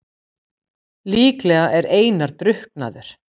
Líklega er Einar drukknaður.